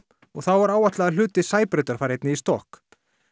og þá er áætlað að hluti Sæbrautar fari einnig í stokk